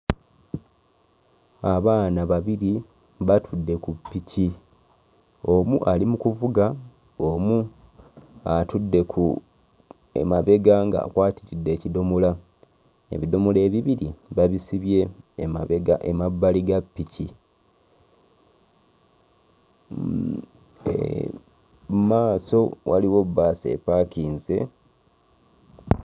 Abaana babiri batudde ku ppiki, omu ali mu kuvuga omu atudde ku emabega ng'akwatiridde ekidomola ebidomola ebibiri babisibye emabega emabbali ga ppiki mm ee mmaaso waliwo bbaasi epaakinze.